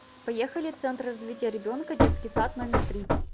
поехали центр развития ребенка детский сад номер три